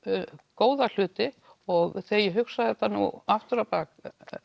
góða hluti og þegar ég hugsa þetta aftur á bak